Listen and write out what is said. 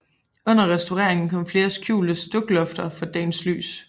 Under restaureringen kom flere skjulte stuklofter for dagens lys